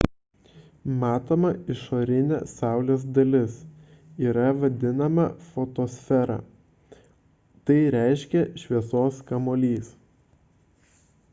matoma išorinė saulės dalis yra vadinama fotosfera tai reiškia šviesos kamuolys